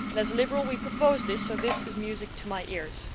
As liberals, we proposed this, so this is music to my ears.